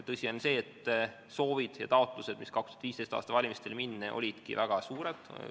Tõsi on see, et soovid ja taotlused olid 2015. aasta valimistele minnes väga suured.